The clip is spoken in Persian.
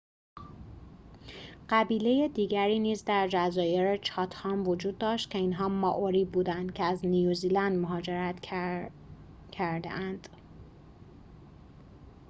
قبیله دیگری نیز در جزایر چاتهام وجود داشت که اینها مائوری بودند که از نیوزیلند مهاجرت کردخه‌اند